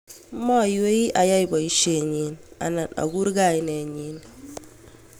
maiywei ayai boisoenyi anan akur kainenyi